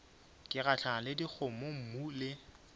ke gahlana le dikgomommuu le